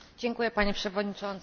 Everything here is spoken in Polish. Panie Przewodniczący!